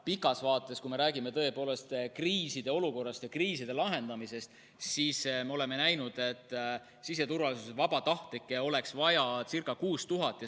Pikas vaates, kui me räägime tõepoolest kriisiolukorrast ja kriiside lahendamisest, me oleme näinud, et siseturvalisuse vabatahtlikke oleks vaja ca 6000.